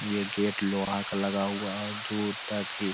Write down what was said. ये गेट लोहा का लगा हुआ है की --